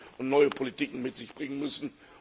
und neue Politiken mit sich bringen müssen.